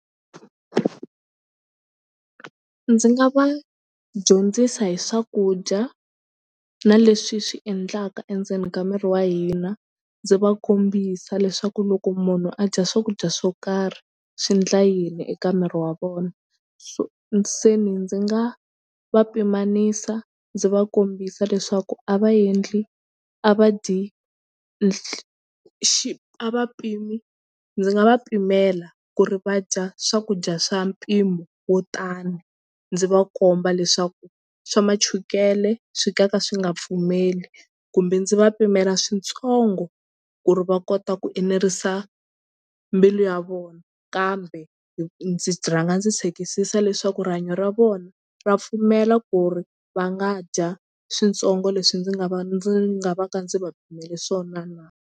Ndzi nga va dyondzisa hi swakudya na leswi swi endlaka endzeni ka miri wa hina ndzi va kombisa leswaku loko munhu a dya swakudya swo karhi swi endla yini eka miri wa vona so se ni ndzi nga va pimanisa ndzi va kombisa leswaku a va endli a va dyi xi a va pimi ndzi nga va pimela ku ri va dya swakudya swa mpimo wo tani ndzi va komba leswaku swa machukele swi nga ka swi nga pfumeli kumbe ndzi va pimela switsongo ku ri va kota ku enerisa mbilu ya vona kambe ndzi ndzi rhanga ndzi chekisisa leswaku rihanyo ra vona ra pfumela ku ri va nga dya switsongo leswi ndzi nga va ndzi nga va ka ndzi va pimele swona na.